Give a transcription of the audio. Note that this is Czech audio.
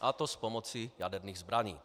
a to s pomocí jaderných zbraní.